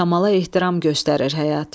Kamala ehtiram göstərir həyat.